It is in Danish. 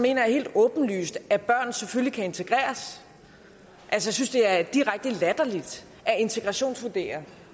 jeg helt åbenlyst at børn selvfølgelig kan integreres jeg synes det er direkte latterligt at integrationsvurdere